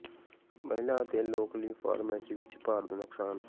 ਮਹਿਲਾ ਅਤੇ ਲੋਕ ਲਈ ਫਾਰਮੇਸੀ ਵਿੱਚ ਭਾਰ ਦਾ ਨੁਕਸਾਨ